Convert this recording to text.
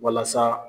Walasa